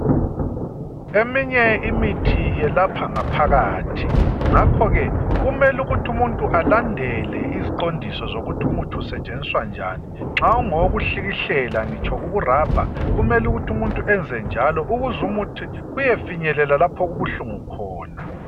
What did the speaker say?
Eminye imithi yelapha ngaphakathi ngakho ke kumele ukuthi umuntu alandele iziqondiso zokuthi umuthi usetshenziswa njani nxa ungowokuhlikihlela ngitsho ukurabha kumele ukuthi umuntu enze njalo ukuzumuthi uyefinyelela lapho okubuhlungu khona.